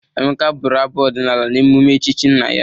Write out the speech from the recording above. Emeka bụrụ abụ ọdịnala n'eụme echchi nna ya.